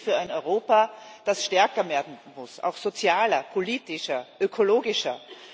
Wir stehen für ein Europa, das stärker werden muss, auch sozialer, politischer, ökologischer.